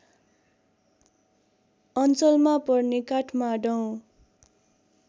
अञ्चलमा पर्ने काठमाडौँ